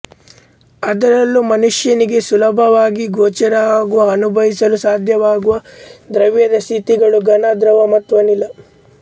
ಅದರಲ್ಲೂ ಮನುಷ್ಯನಿಗೆ ಸುಲಭವಾಗಿ ಗೋಚರವಾಗುವ ಅನುಭವಿಸಲು ಸಾಧ್ಯವಾಗುವ ದ್ರವ್ಯದ ಸ್ಥಿತಿಗಳು ಘನ ದ್ರವ ಮತ್ತು ಅನಿಲ